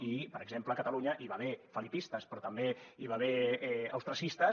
i per exemple a catalunya hi va haver felipistes però també hi va haver austriacistes